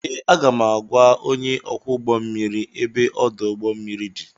Ee, aga m agwa onye ọkwọ ụgbọ mmiri ebe ọdụ ụgbọ mmiri dị